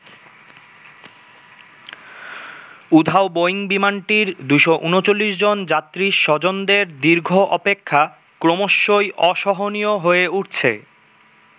উধাও বোয়িং বিমানটির ২৩৯ জন যাত্রীর স্বজনদের দীর্ঘ অপেক্ষা ক্রমশই অসহনীয় হয়ে উঠছে।